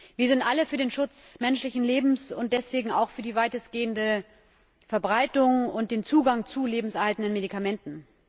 Wir sind alle für den Schutz menschlichen Lebens und deswegen auch für die weitestgehende Verbreitung und den Zugang zu lebenserhaltenden Medikamenten.